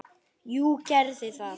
Jú, gerðu það